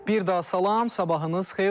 Bir daha salam, sabahınız xeyir olsun.